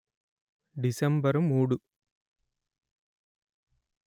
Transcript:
December మూడు;